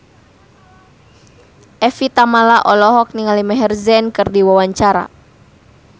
Evie Tamala olohok ningali Maher Zein keur diwawancara